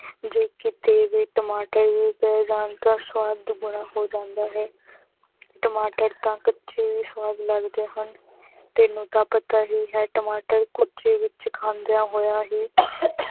ਜੀ ਕੀਤੀ ਵੇ ਟਮਾਟਰ ਆ ਜਾਨ ਟੀ ਸਵਾਦ ਦੁਗਨਾ ਹੋ ਜਾਂਦਾ ਹੈ ਟਮਾਟਰ ਤੇ ਕੱਚੇ ਵੇ ਸਵਾਦ ਲਗਦੇ ਹਨ ਤੇਨੁ ਤਾ ਪਤਾ ਹੇ ਹੈ ਟਮਾਟਰ ਕਚੀ ਵਿਚ ਖਾਂਦਿਯਾ ਹੋਏ ਹੇ